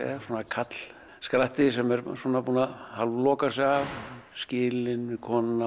karlskratti sem er búinn að hálfloka sig af skilinn við konuna